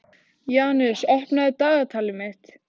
Janus, opnaðu dagatalið mitt.